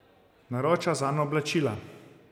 Naroča zanj oblačila.